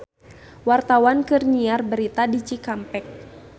Wartawan keur nyiar berita di Cikampek